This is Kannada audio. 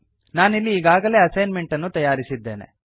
ನಾನಿಲ್ಲಿ ಈಗಾಗಲೇ ಅಸೈನ್ಮೆಂಟ್ ಅನ್ನು ತಯಾರಿಸಿದ್ದೇನೆ